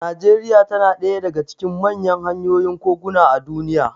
Najeriya tana daya daga cikin manyan hanyoyin koguna a duniya.